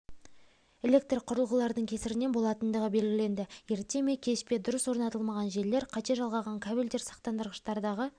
электроқұрылғылардың кесірінен болатындығы белгіленді ерте ме кеш пе дұрыс орнатылмаған желілер қате жалғаған кабельдер сақтандырғыштардағы